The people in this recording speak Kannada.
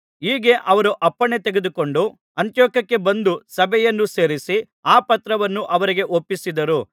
ಹೀಗೆ ಅವರು ಅಪ್ಪಣೆ ತೆಗೆದುಕೊಂಡು ಅಂತಿಯೋಕ್ಯಕ್ಕೆ ಬಂದು ಸಭೆಯನ್ನು ಸೇರಿಸಿ ಆ ಪತ್ರವನ್ನು ಅವರಿಗೆ ಒಪ್ಪಿಸಿದರು